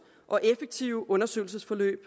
og effektive undersøgelsesforløb